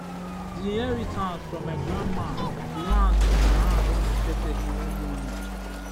the inheritance from my grandma land for my hand unexpectedly one morning.